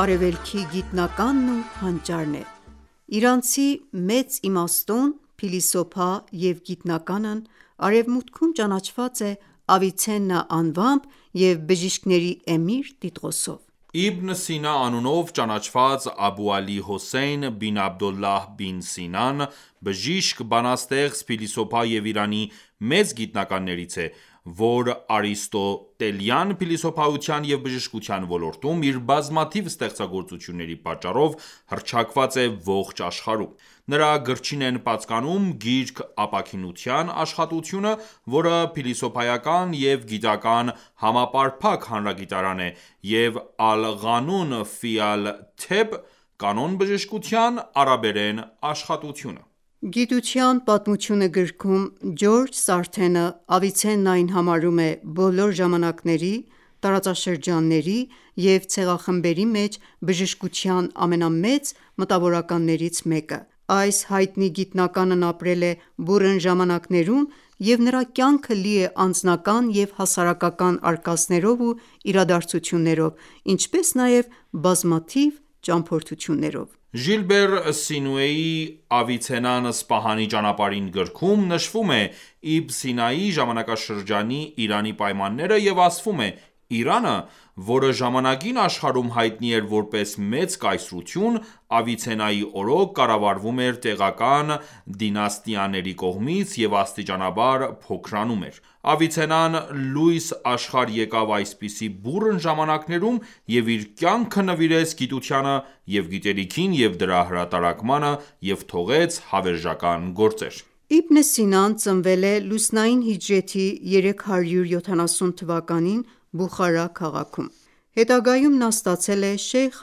Արևելքի գիտնականն ու հանճարն է: Իրանցի մեծ իմաստուն, փիլիսոփա և գիտնականն Արևմուտքում ճանաչված է Ավիցեննա անվամբ և «Բժիշկների էմիր» տիտղոսով: Իբն Սինա անունով ճանաչված Աբու Ալի Հոսեյն Բին Աբդոլլահ Բին Սինան բժիշկ, բանաստեղծ, փիլիսոփա և Իրանի մեծ գիտնականներից է, որ արիստոտելյան փիլիսոփայության և բժշկության ոլորտում իր բազմաթիվ ստեղծագործությունների պատճառով հռչակված է ողջ աշխարհում:Նրա գրչին են պատկանում «Գիրք ապաքինության» աշխատությունը, որը փիլիսոփայական և գիտական համապարփակ հանրագիտարան է, և «Ալ Ղանուն Ֆի Ալ-Թեբ» «Կանոն բժշկության» արաբերեն աշխատությունը: «Գիտության պատմությունը» գրքում «Ջորջ Սարթենը» Ավիցեննային համարում է բոլոր ժամանակների, տարածաշրջանների և ցեղախմբերի մեջ բժշկության ամենամեծ մտավորականներից մեկը: Այս հայտնի գիտնականն ապրել է բուռն ժամանակներում, և նրա կյանքը լի է անձնական և հասարակական արկածներով ու իրադարձություններով, ինչպես նաև բազմաթիվ ճամփորդություններով: Ժիլբեր Սինուեի «Ավիցեննան Սպահանի ճանապարհին» գրքում նշվում է Իբն Սինայի ժամանակաշրջանի Իրանի պայմանները և ասվում է՝ Իրանը, որը ժամանակին աշխարհում հայտնի էր որպես մեծ կայսրություն, Ավիցեննայի օրոք կառավարվում էր տեղական դինաստիաների կողմից և աստիճանաբար փոքրանում էր: Ավիցեննան լույս աշխարհ եկավ այսպիսի բուռն ժամանակներում և իր կյանքը նվիրեց գիտությանը և գիտելիքին և դրա հրատարակմանը և թողեց հավերժական գործեր: Իբն Սինան ծնվել է լուսնային հիջրեթի 370 թվականին Բուխարա քաղաքում (980 թ.)։ Հետագայում նա ստացել է Շեյխ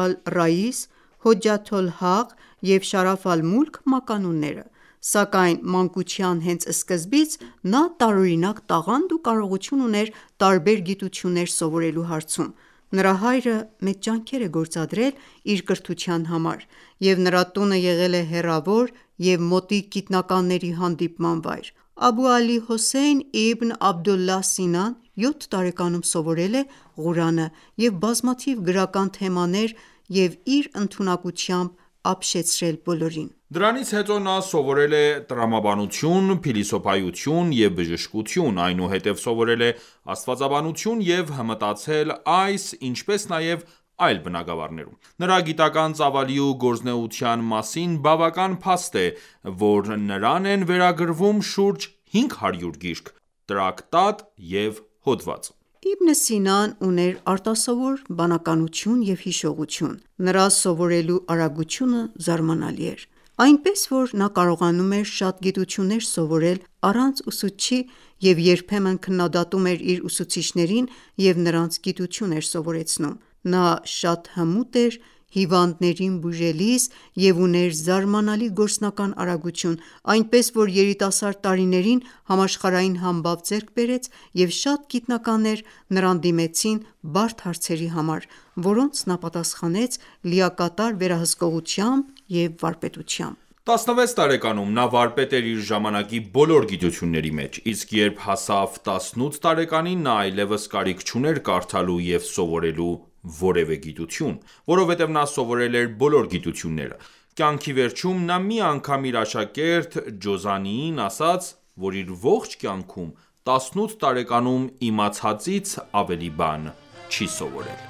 ալ-Ռաիս, Հոջաթ ալ-Հաղ և Շարաֆ ալ-Մուլք մականունը, սակայն մանկության հենց սկզբից նա տարօրինակ տաղանդ ու կարողություն ուներ տարբեր գիտություններ սովորելու հարցում: Նրա հայրը մեծ ջանքեր է գործադրել իր կրթության համար, և նրա տունը եղել է հեռավոր և մոտիկ գիտնականների հանդիպման վայր: Աբու Ալի Հոսեյն իբն Աբդուլլահ Սինան յոթ տարեկանում սովորել է Ղուրանը և բազմաթիվ գրական թեմաներ և իր ընդունակությամբ ապշեցրել բոլորին։ Դրանից հետո նա սովորել է տրամաբանություն, փիլիսոփայություն և բժշկություն, այնուհետև սովորել է աստվածաբանություն և հմտացել այս, ինչպես նաև այլ բնագավառներում։ Նրա գիտական ​​ծավալի ու գործունեության մասին բավական փաստ է, որ նրան են վերագրվում շուրջ հինգ հարյուր գիրք, տրակտատ և հոդված։ Իբն Սինան ուներ արտասովոր բանականություն և հիշողություն, նրա սովորելու արագությունը զարմանալի էր: Այնպես, որ նա կարողանում էր շատ գիտություններ սովորել առանց ուսուցչի և երբեմն քննադատում էր իր ուսուցիչներին և նրանց գիտություն էր սովորեցնում։ Նա շատ հմուտ էր հիվանդներին բուժելիս և ուներ զարմանալի գործնական արագություն, այնպես որ երիտասարդ տարիներին համաշխարհային համբավ ձեռք բերեց, և շատ գիտնականներ նրան դիմեցին բարդ հարցերի համար, որոնց նա պատասխանեց լիակատար վերահսկողությամբ և վարպետությամբ։ Տասնվեց տարեկանում նա վարպետ էր իր ժամանակի բոլոր գիտությունների մեջ, իսկ երբ հասավ տասնութ տարեկանին, նա այլեւս կարիք չուներ կարդալու և սովորելու որևէ գիտություն: Որովհետև նա սովորել էր բոլոր գիտությունները։ Կյանքի վերջում նա մի անգամ իր աշակերտ «Ջոզանիին» ասաց, որ իր ողջ կյանքում տասնութ տարեկանում իմացածից ավելի բան չի սովորել։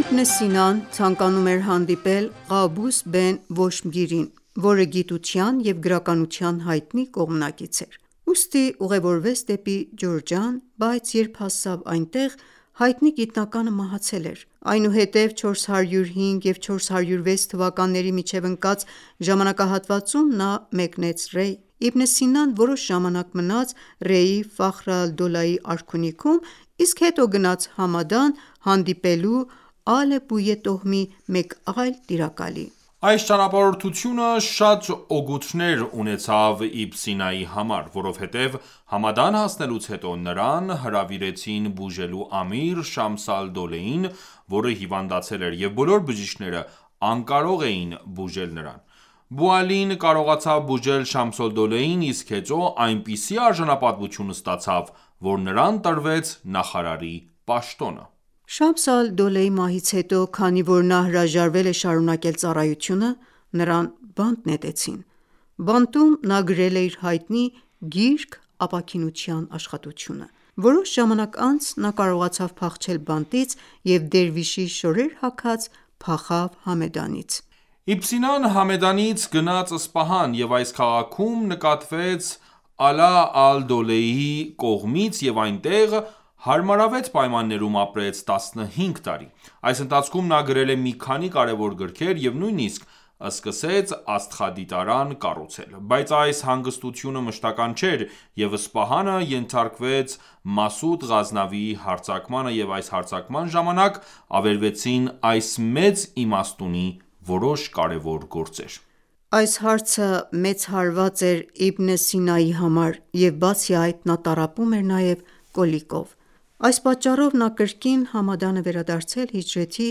Իբն Սինան ցանկանում էր հանդիպել «Ղաբուս բեն Վոշմգիրին», որը գիտության և գրականության հայտնի կողմնակից էր։ Ուստի ուղևորվեց դեպի Ջուրջան, բայց երբ հասավ այնտեղ, հայտնի գիտնականը մահացել էր։ Այնուհետև 405 և 406 թվականների միջև ընկած ժամանակահատվածում նա գնաց Ռեյ (1014 և 1015 թթ.): Իբն Սինան որոշ ժամանակ մնաց Ռեյի Ֆախր ալ-Դոլայի արքունիքում, իսկ հետո գնաց Համեդան՝ հանդիպելու Ալ Բույե տոհմի մեկ այլ տիրակալի։ Այս ճանապարհորդությունը շատ օգուտներ ունեցավ Իբն Սինայի համար, որովհետև Համադան հասնելուց հետո նրան հրավիրեցին բուժելու Ամիր Շամս ալ-Դոլեին, որը հիվանդացել էր և բոլոր բժիշկները անկարող էին բուժել նրան։ Բու Ալին կարողացավ բուժել Շամս ալ-Դոլեին, իսկ հետո այնպիսի արժանապատվություն ստացավ, որ նրան տրվեց նախարարի պաշտոնը։ Շամս ալ-Դոլեի մահից հետո, քանի որ նա հրաժարվել է շարունակել ծառայությունը, նրան բանտ նետեցին։ Բանտում նա գրել է իր հայտնի «Գիրք ապաքինության» աշխատությունը։ Որոշ ժամանակ անց նա կարողացավ փախչել բանտից և դերվիշի շորեր հագած փախավ Համեդանից։ Իբն Սինան Համեդանից գնաց Սպահան և այս քաղաքում նկատվեց Ալա ալ-Դոլեյի կողմից և այնտեղ հարմարավետ պայմաններում ապրեց տասնհինգ տարի: Այս ընթացքում նա գրել է մի քանի կարևոր գրքեր և նույնիսկ սկսեց աստղադիտարան կառուցել։ Բայց այս հանգստությունը մշտական ​​չէր, և Սպահանը ենթարկվեց Մասուդ Ղազնավիի հարձակմանը և այս հարձակման ժամանակ ավերվեցին այս մեծ իմաստունի որոշ կարևոր գործեր։ Այս հարցը մեծ հարված էր Իբն Սինայի համար և բացի այդ, նա տառապում էր նաև կոլիկով։ Այս պատճառով նա կրկին Համադան է վերադարձել հիջրեթի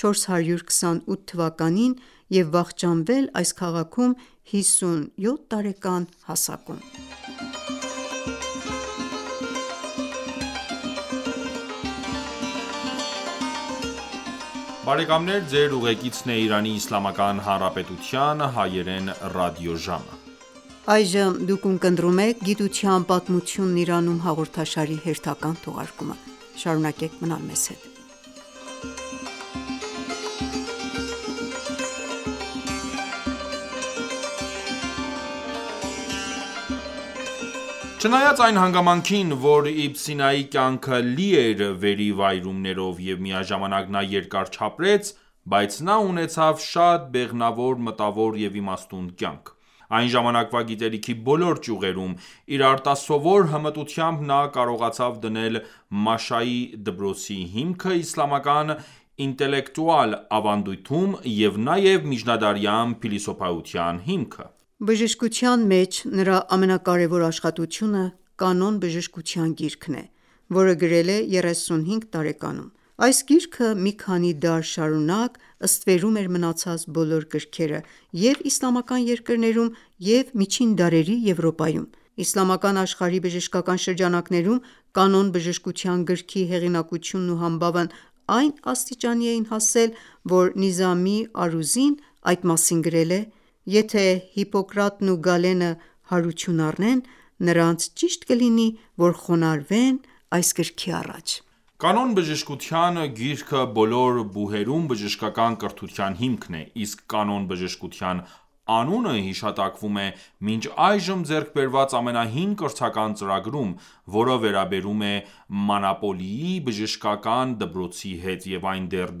428 թվականին (1036 թ.) եւ վախճանվել այս քաղաքում հիսունյոթ տարեկան հասակում։ Չնայած այն հանգամանքին, որ Իբն Սինայի կյանքը լի էր վերիվայրումներով և միաժամանակ նա երկար չապրեց, բայց նա ունեցավ շատ բեղմնավոր մտավոր և իմաստուն կյանք։ Այն ժամանակվա գիտելիքի բոլոր ճյուղերում իր արտասովոր հմտությամբ նա կարողացավ դնել Մաշայի դպրոցի հիմքը իսլամական ինտելեկտուալ ավանդույթում և նաև միջնադարյան փիլիսոփայության հիմքը: Բժշկության մեջ նրա ամենակարեւոր աշխատությունը «Կանոն բժշկության» գիրքն է, որը գրել է 35 տարեկանում։ Այս գիրքը մի քանի դար շարունակ ստվերում էր մնացած բոլոր գրքերը՝ և՛ իսլամական երկրներում, և՛ միջին դարերի Եվրոպայում: Իսլամական աշխարհի բժշկական շրջանակներում «Կանոն բժշկության» գրքի հեղինակությունն ու համբավն այն աստիճանի էին հասել, որ Նիզամի Արուզին այդ մասին գրել է.«Եթե ​​Հիպոկրատն ու Գալենը հարություն առնեն, նրանց ճիշտ կլինի, որ խոնարհվեն այս գրքի առաջ»: «Կանոն բժշկության» գիրքը բոլոր բուհերում բժշկական կրթության հիմքն է, իսկ «Կանոն բժշկության» անունը հիշատակվում է մինչ այժմ ձեռք բերված ամենահին կրթական ծրագրում, որը վերաբերում է Մանոպոլիի բժշկական դպրոցի հետ, և այն դեռ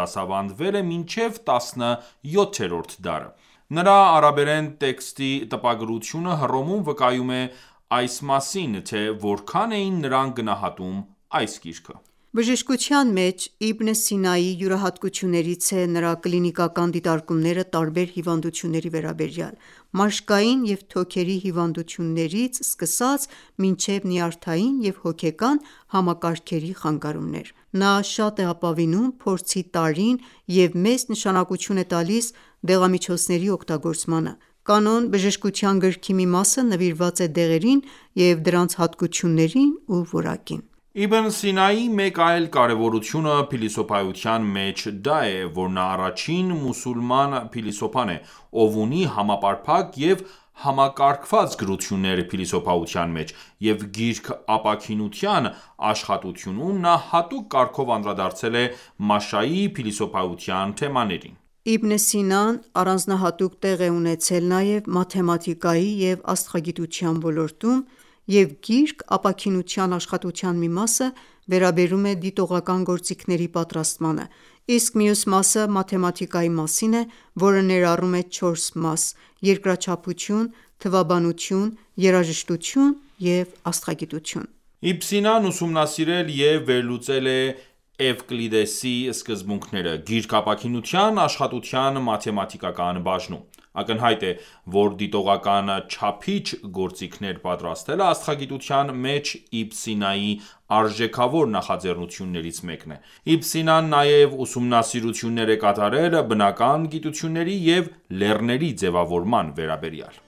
դասավանդվել է մինչև 17-րդ դարը։ Նրա արաբերեն տեքստի տպագրությունը Հռոմում վկայում է մասին, թե որքան էին նրանք գնահատում այս գիրքը։ Բժշկության մեջ Իբն Սինայի յուրահատկություններից է նրա կլինիկական դիտարկումները տարբեր հիվանդությունների վերաբերյալ՝ մաշկային և թոքերի հիվանդություններից մինչև նյարդային և հոգեկան համակարգերի խանգարումներ: Նա շատ է ապավինում փորձի տարրին և մեծ նշանակություն է տալիս դեղամիջոցների օգտագործմանը. «Կանոն բժշկության» գրքի մի մասը նվիրված է դեղերին և դրանց հատկություններին ու որակին։ Իբն Սինայի մեկ այլ կարևորությունը փիլիսոփայության մեջ դա է, որ նա առաջին մուսուլման փիլիսոփան է, ով ունի համապարփակ և համակարգված գրություններ փիլիսոփայության մեջ, և «Գիրք ապաքինության» աշխատությունում նա հատուկ կարգով անդրադարձել է Մաշայի փիլիսոփայության թեմաներին: Իբն Սինան առանձնահատուկ տեղ է ունեցել նաև մաթեմատիկայի և աստղագիտության ոլորտում, և «Գիրք ապաքինության» աշխատության մի մասը վերաբերում է դիտողական գործիքների պատրաստմանը, իսկ մյուս մասը մաթեմատիկայի մասին է, որը ներառում է չորս մաս՝ երկրաչափություն, թվաբանություն, երաժշտություն և աստղագիտություն։ Իբն Սինան ուսումնասիրել և վերլուծել է Էվկլիդեսի սկզբունքները «Գիրք ապաքինության» աշխատության մաթեմատիկական բաժնում: Ակնհայտ է, որ դիտողական չափիչ գործիքներ պատրաստելը աստղագիտության մեջ Իբն Սինայի արժեքավոր նախաձեռնություններից մեկն է: Իբն Սինան նաև ուսումնասիրություններ է կատարել բնական գիտությունների և լեռների ձևավորման վերաբերյալ: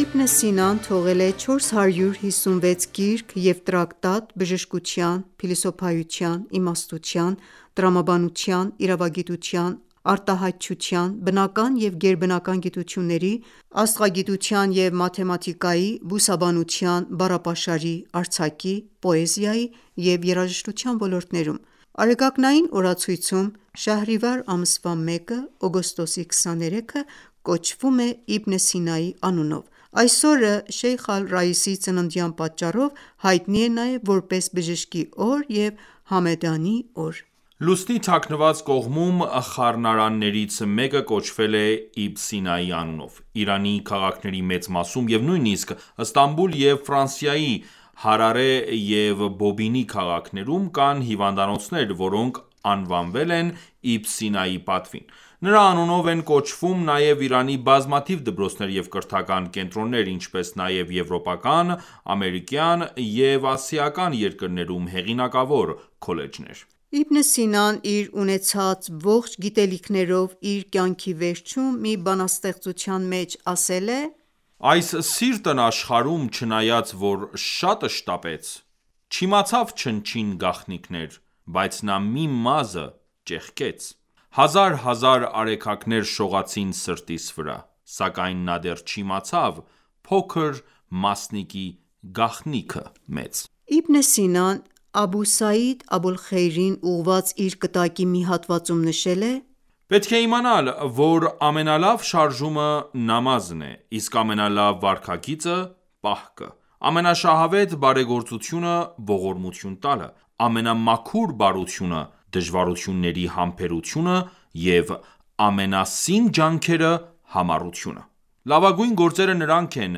Իբն Սինան թողել է 456 գիրք և տրակտատ բժշկության, փիլիսոփայության, իմաստության, տրամաբանության, իրավագիտության, արտահայտչության, բնական և գերբնական գիտությունների, աստղագիտության և մաթեմատիկայի, բուսաբանության, բառապաշարի, արձակի, պոեզիայի և երաժշտության ոլորտներում։ Արեգակնային օրացույցում Շահրիվար ամսվա 1-ը (օգոստոսի 23) ​​կոչվում է Իբն Սինայի անունով: Այս օրը, Շեյխ Ալ-Ռայիսի ծննդյան պատճառով, հայտնի է նաև որպես բժշկի օր և Համեդանի օր: Լուսնի թաքնված կողմում խառնարաններից մեկը կոչվել է Իբն Սինայի անունով: Իրանի քաղաքների մեծ մասում և նույնիսկ Ստամբուլ և Ֆրանսիայի Հարարե և Բոբինի քաղաքներում կան հիվանդանոցներ, որոնք անվանվել են Իբն Սինայի պատվին։ Նրա անունով են կոչվում նաև Իրանի բազմաթիվ դպրոցներ և կրթական կենտրոններ, ինչպես նաև եվրոպական, ամերիկյան և ասիական երկրներում հեղինակավոր քոլեջներ։ Իբն Սինան իր ունեցած ողջ գիտելիքներով իր կյանքի վերջում մի բանաստեղծության մեջ ասել է. «Այս սիրտն աշխարում չնայած որ շատ շտապեց Չիմացավ չնչին գաղտնիքներ, բայց նա մի մազը Ճեղքեց: Հազար հազար արեգակներ շողացին սրտիս վրա Սակայն նա դեռ չիմացավ փոքր մասնիկի գաղտնիքը մեծ»: Իբն Սինան «Աբու Սայիդ Աբուլ Խեյրին» ուղղված իր կտակի մի հատվածում նշել է.«Պետք է իմանալ, որ ամենալավ շարժումը նամազն է, իսկ ամենալավ վարքագիծը՝ պահքը, ամենաշահավետ բարեգործությունը ողորմություն տալը, ամենամաքուր բարությունը, դժվարությունների համբերությունը և ամենասին ջանքերը՝ համառությունը։ Լավագույն գործերը նրանք են,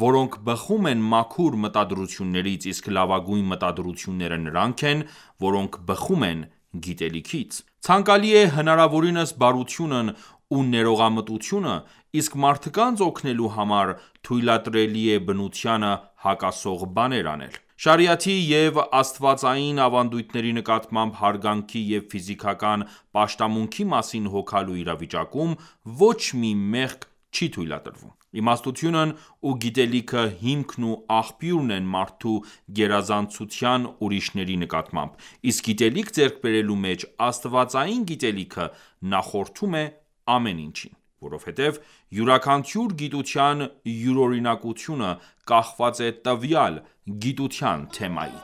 որոնք բխում են մաքուր մտադրություններից, իսկ լավագույն մտադրությունները նրանք են, որոնք բխում են գիտելիքից: Ցանկալի է հնարավորինս բարությունն ու ներողամտությունը, իսկ մարդկանց օգնելու համար թույլատրելի է բնությանը հակասող բաներ անել: Շարիաթի և աստվածային ավանդույթների նկատմամբ հարգանքի և ֆիզիկական պաշտամունքի մասին հոգալու իրավիճակում ոչ մի մեղք չի թույլատրվում: Իմաստությունն ու գիտելիքը հիմքն ու աղբյուրն են մարդու գերազանցության ուրիշների նկատմամբ, իսկ գիտելիք ձեռք բերելու մեջ աստվածային գիտելիքը նախորդում է ամեն ինչին։ Որովհետև յուրաքանչյուր գիտության յուրօրինակությունը կախված է տվյալ գիտության թեմայից»: